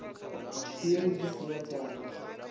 piere dzi si na thanda